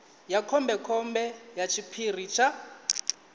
ya khombekhombe ya tshiphiri tsha